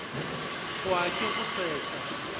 hwa ke go se sa